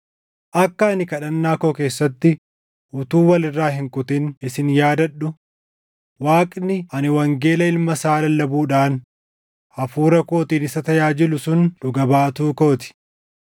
Akka ani kadhannaa koo keessatti utuu wal irraa hin kutin isin yaadadhu Waaqni ani wangeela Ilma isaa lallabuudhaan hafuura kootiin isa tajaajilu sun dhuga baatuu koo ti;